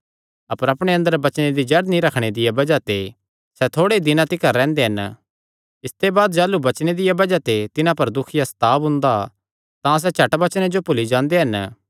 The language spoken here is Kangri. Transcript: अपर अपणे अंदर वचने दी जड़ नीं रखणे दिया बज़ाह ते सैह़ थोड़े ई दिनां तिकर रैंह्दे हन इसते बाद जाह़लू वचने दिया बज़ाह ते तिन्हां पर दुख या सताव हुंदा तां सैह़ झट वचने जो भुल्ली जांदे हन